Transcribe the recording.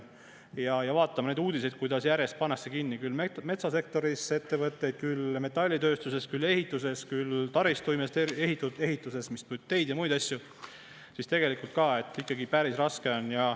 Ja kui me vaatame neid uudiseid, kuidas järjest pannakse kinni küll metsasektoris ettevõtteid, küll metallitööstuses, küll ehituses, küll taristuehituses, mis teeb teid ja muid asju, siis tegelikult ka, päris raske on.